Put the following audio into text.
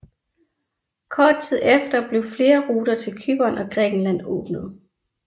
Kort tid efter blev flere ruter til Cypern og Grækenland åbnet